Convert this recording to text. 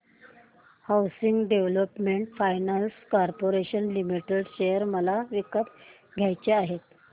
housing development finance corporation limited share मला विकत घ्यायचे आहेत